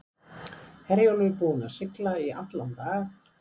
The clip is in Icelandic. Herjólfur búinn að sigla í allan dag.